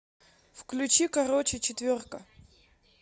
включи короче четверка